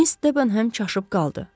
Miss Debenhem çaşıb qaldı.